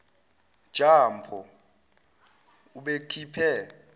ja mpho ubekhiphe